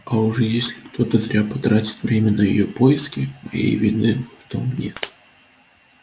а уж если кто-то зря потратит время на её поиски моей вины в том нет